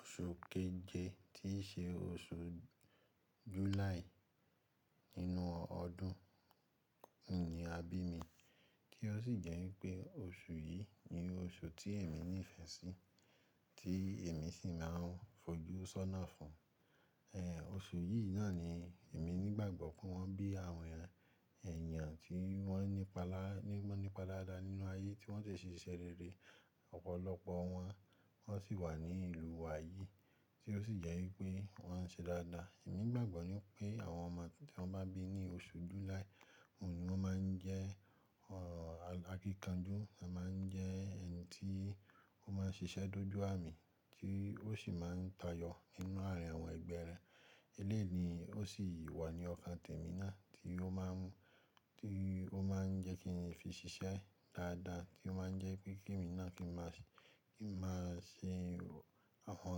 Oṣu keje tíí ṣe oṣù July nínú ọdún ni a bí mi, tí ó sì jẹ́ wípé oṣù yìí ni oṣù tí èmi nífẹ̀ẹ́ sí, tí èmi sì máa ń fojú sọ́nà fún. Èéh, oṣù yìí náà ni èmi nígbàgbọ́ pé wọ́n bí àwọn èèyàn tí wọ́n nípa daada nínú ayé tí wọ́n dẹ̀ ṣe iṣẹ́ rere ọ̀pọ̀lọpọ̀ wọn, wọ́n sì wà ní ìlú wa yìí, tí ó sì jẹ́ wípé wọ́n ń ṣe dáadáa. Èmi gbàgbọ́ ní pé àwọn ọmọ tí wọ́n bá bí ní oṣu July, òun ni ó máa ń jẹ́ akíkanjú, ó máa ń jẹ́ ẹni tí ó máa ń ṣiṣẹ́ dójú àmì, tí ó sì máa ń tayọ nínú àárín àwọn ẹgbẹ́ rẹ. Eléyìí ni, ó sì wà ní ọkàn tèmi náà tí ó máa ń, tí ó máa ń jẹ́ kí n fi ṣiṣẹ́ dáadáa, tí ó máa ń jẹ́ kí tèmi náà kí n máa ṣe àwọn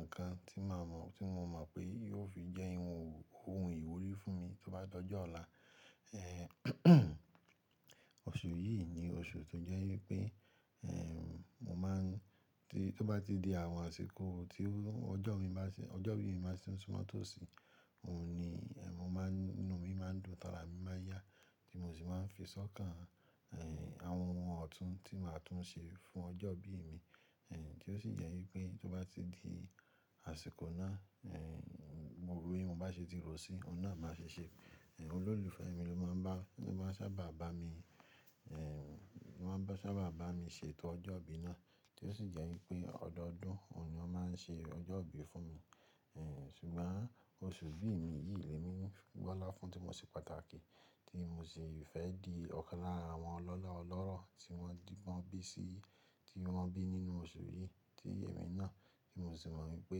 nǹkan tí màá mọ̀, tí mo mọ̀ pé yóò fi jẹ́ ohun ìwúrí fún mi tí ó bá dójọ́ ọ̀la. Èéh, oṣù yìí ni oṣù tó jẹ́ wípé èèè mo máa ń-- tí ó bá ti di àwọn àsìkò tí ọjọ́ ìbí mi báa ti n súmọ́ máa tòsí, òun ni èèè mo máa ń, inú mi máa ń dùn, ara mi máa yá, tí mò sì máa ń fi sọ́kàn èèè àwọn ohun ọ̀tún tí màá tún ṣe fún ọjọ́ ìbí i mi, èè tí ó sì jẹ́ wípé tí ó bá ti di àsìkò náà èèè mo rò bí mo bá ṣe ti rò sí, òun náà máa ṣe ṣẹ. Ẹ̀h, olólùfẹ́ mi ló máa ń bá, ló máa ń sábà bá mi èèè ló máa ń sábà bá mi ṣètò ọjọ́ ìbí náà, tí ó sì jẹ́ wípé ọdọọdún òun ni ó máa ń ṣe ọjọ́ ìbí fún mi. Èè sùgbọ́n oṣù ìbí ì mi yìí ni èmi ń gbọ́lá fún tí mo ṣe pàtàkì tí mò sì fẹ́ di ọ̀kan lára àwọn ọlọ́lá ọlọ́rọ̀ tí wọ́n bí sí, tí wọ́n bí nínú oṣù yìí tí èmi náà, kí mò sì mọ̀ wípé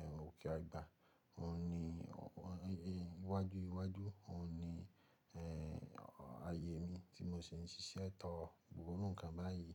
èè ókè àgbà òun ni wájú wájú òun ni èèè ayé mi tí mò sì ń ṣiṣẹ́ tọ gbogbo irú nǹkan báyìí.